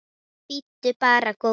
Nei, bíddu bara, góði.